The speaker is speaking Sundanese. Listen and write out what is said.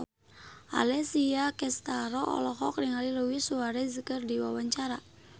Alessia Cestaro olohok ningali Luis Suarez keur diwawancara